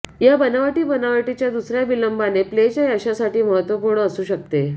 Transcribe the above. या बनावटी बनावटीच्या दुसऱ्या विलंबाने प्लेच्या यशासाठी महत्त्वपूर्ण असू शकते